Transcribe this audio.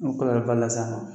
Nu kila la la sisan nɔ.